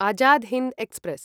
Azad Hind express